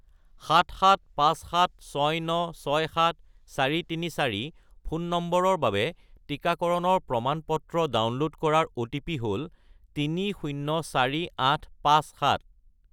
77576967434 ফোন নম্বৰৰ বাবে টিকাকৰণৰ প্ৰমাণ-পত্ৰ ডাউনলোড কৰাৰ অ'টিপি হ'ল 304857